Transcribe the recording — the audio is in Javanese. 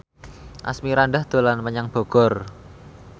Asmirandah dolan menyang Bogor